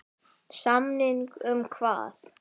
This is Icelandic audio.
Samning um hvað?